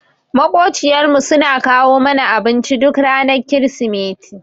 Maƙociyar mu suna kawo mana abinci duk ranar krismeti.